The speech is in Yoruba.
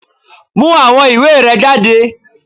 Mú àwọn ìwé rẹ jáde!